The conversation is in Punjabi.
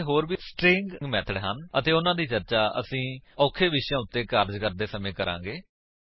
ਇੱਥੇ ਹੋਰ ਵੀ ਸਟਰਿੰਗ ਮੇਥਡ ਹਨ ਅਤੇ ਉਨ੍ਹਾਂ ਦੀ ਚਰਚਾ ਅਸੀ ਅੱਗੇ ਔਖੇ ਵਿਸ਼ਿਆਂ ਉੱਤੇ ਕਾਰਜ ਕਰਦੇ ਸਮੇਂ ਕਰਾਂਗੇ